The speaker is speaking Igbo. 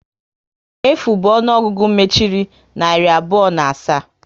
Efu bụ ọnụọgụgụ mechiri narị abụọ na asaa